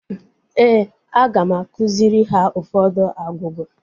Éè, aga m akụziri ha ụfọdụ agwugwa